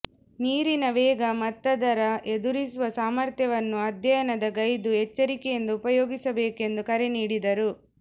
ನೀರಿನ ವೇಗ ಮತ್ತದರ ಎದುರಿಸುವ ಸಾಮರ್ಥ್ಯವನ್ನು ಅಧ್ಯಯನ ಗೈದು ಎಚ್ಚರಿಕೆಯಿಂದ ಉಪಯೋಗಿಸಬೇಕೆಂದು ಕರೆ ನೀಡಿದರು